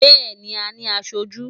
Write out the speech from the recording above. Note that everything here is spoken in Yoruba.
Bẹ́ẹ̀ni, a ní aṣojú.